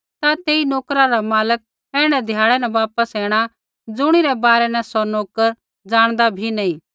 ता तेई नोकरा रा मालक ऐण्ढै ध्याड़ै न वापस ऐणा ज़ुणिरै बारै न सौ नोकर ज़ाणदा बी नी